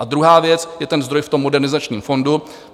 A druhá věc je ten zdroj v tom Modernizačním fondu.